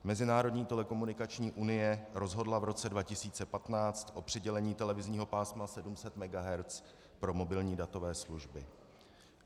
Mezinárodní telekomunikační unie rozhodla v roce 2015 o přidělení televizního pásma 700 MHz pro mobilní datové služby.